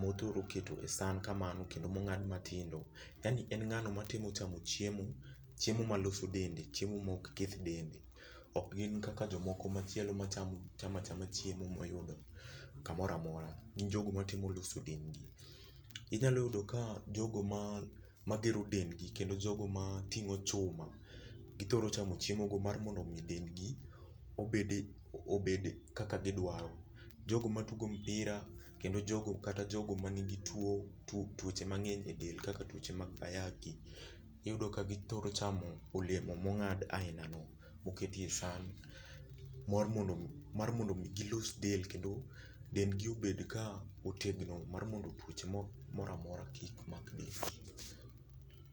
mothuro keto e san kamano kendo mong'ad matindo. Yani en ngh'ano matemo chamo chiemo ma loso dende, chiemo mok keth dende. Ok gin kaka jomoki machielo ma chamo acham chiemo moyudo kamoro amora. Gin jogo matemo loso dendgi. Inyalo yudo ka jogo magero dendgi kendo jogo mating'o chuma githoro chamo chiemo go mar mondo dendgi obede obed kaka gidwaro. Jogo matugo mipira kendo jogo kata jogo manigi tuo tuoche mang'eny e del kak tuoche mag ayaki iyudo ka githoro chamo olemo mong'ad aina no moketie san mar mondo mi gilos del kendo dendgi obed ka otegno mar mondo tuoche moro amora kik makgi.